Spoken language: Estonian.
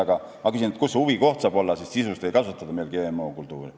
Aga ma küsin, kus see huvikoht saab olla, sest sisuliselt ei kasvatata meil GM-kultuure.